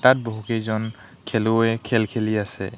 তাত বহুকেইজন খেলুৱৈয়ে খেল খেলি আছে।